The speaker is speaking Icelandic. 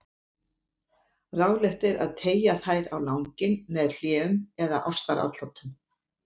Ráðlegt er að teygja þær á langinn með hléum eða ástaratlotum.